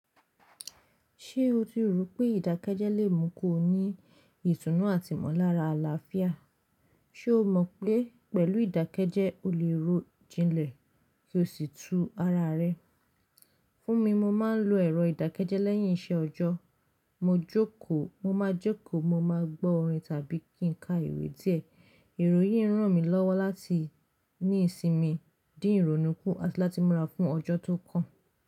Ṣé o ti rò pé ìdákẹ́jẹ́ lè mú kó ní ìtùnú àti mọ́lára àlàáfíà? Ṣé o mọ̀ pé pẹ̀lú ìdákẹ́jẹ́ o lè rọ̀ jinlẹ̀ kí o sì tú ara rẹ? Fún mi, mo máa ń lo ẹ̀rọ ìdákẹ́jẹ́ lẹ́yìn isẹ ọjọ́. Mo máa jókòó, mo máa gbọ́ orin tàbí kí n ka ìwé díẹ̀. Ìròyìn rán mi lọ́wọ́ láti ní ìsinmi, dí ìrònúkú àti láti múra fún ọjọ́ tó kàn.